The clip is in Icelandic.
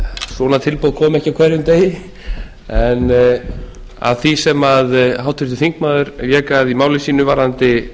svona tilboð koma ekki á hverjum degi en að því sem háttvirtur þingmaður vék að í máli sínu varðandi